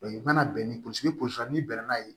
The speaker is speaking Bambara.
i mana bɛn ni n'i bɛn n'a ye